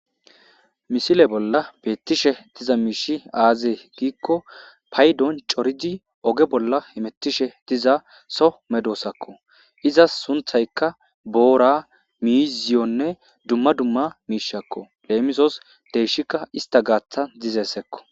misile bolla beettishe diza miishi aazee giikko paydon coridi oge bolla hemetishe diza so medoosakko iza sunthaykka boora miiziyonne dumma dumma miishakko leemisos deyshikka ista gaaththa dizeessekko